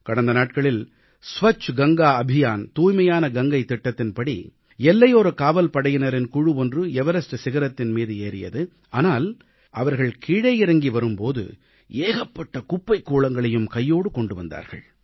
கடந்த நாட்களில் ஸ்வச்ச கங்கா அபியான் தூய்மையான கங்கை இயக்கத்தின்படி எல்லையோரக் காவல்படையினரின் குழு ஒன்று எவரஸ்ட் சிகரத்தின் மீது ஏறியது ஆனால் அவர்கள் கீழே இறங்கி வரும்போது ஏகப்பட்ட குப்பைக்கூளங்களையும் கையோடு கொண்டு வந்தார்கள்